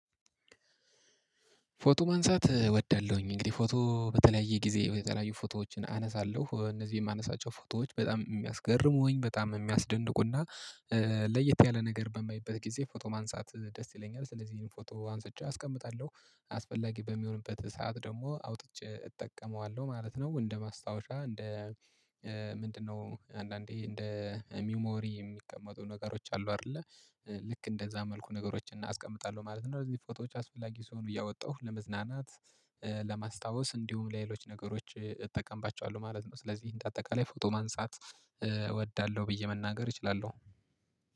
ፎቶ ማንሳት እወዳለሁኝ እንግዲህ ፎቶ በተለያየ ጊዜ የተለያዩ ፎቶዎችን አነሳለሁ እነዚህ የማነሳቸው ፎቶዎች በጣም የሚያስገርሙኝ በጣም የሚያስደንቁና ለየት ያለ ነገር በማየትበት ጊዜ ፎቶ ማንሳት ደስ ይለኛል። ስለዚህ ይሄን ፎቶ አንስቼ አስቀምጣለሁ አስፈላጊ በሚሆንበት ሰዓት ደግሞ አውጥቼ እጠቀመዋለሁ ማለት ነው። እንደ ማስታወሻ እንደ ምንድነው አንዳንዴ እንደ ሚሞሪ የሚቀመጡ ነገሮች አሉ አይደለ? ልክ እንደዛ መልኩ ነገሮችን አስቀምጣለሁ ማለት ነው። እዚህ ፎቶዎች አስፈላጊ ስሆኑ እያወጣሁ ለመዝናናት ለማስታወስ እንዲሁም ለሌሎች ነገሮች እጠቀምባቸዋለሁ ማለት ነው። ስለዚህ እንደ አጠቃላይ ፎቶ ማንሳት እወዳለሁ ብዬ መናገር እችላለሁ።